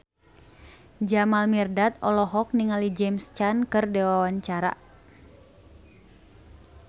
Jamal Mirdad olohok ningali James Caan keur diwawancara